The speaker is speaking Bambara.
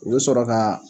U bɛ sɔrɔ ka